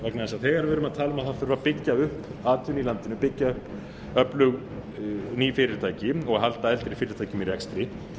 að það þurfi að byggja upp atvinnu í landinu byggja upp öflug ný fyrirtæki og halda eldri fyrirtækjum í rekstri